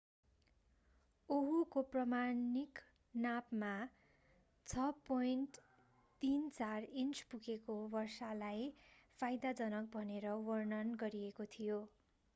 ओहुको प्रमाणिक नापमा 6.34 इन्च पुगेको वर्षालाई फाइदाजनक भनेर वर्णन गरिएको थियो